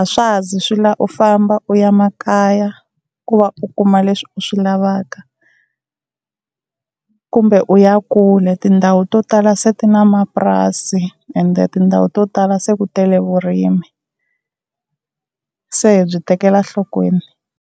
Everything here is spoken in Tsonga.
a swa ha zi swi lava u famba u ya makaya ku va u kuma leswi u swi lavaka kumbe u ya kule, tindhawu to tala se ti na mapurasi ende tindhawu to tala se ku tele vurimi. Se hi byi tekela enhlokweni.